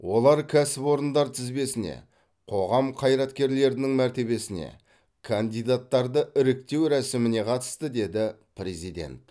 олар кәсіпорындар тізбесіне қоғам қайраткерлерінің мәртебесіне кандидаттарды іріктеу рәсіміне қатысты деді президент